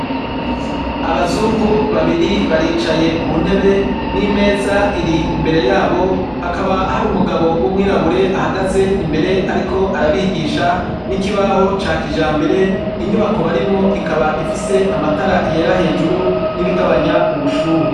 Abazungu babiri baricaye ku ntebe, n'imeza iri imbere yabo, hakaba hari umugabo w'umwirabure ahagaze imbere ariko arabigisha n'ikibaho ca kijambere. Inyubako barimwo ikaba ifise amatara yera hejuru n'ibigabanya ubushuhe.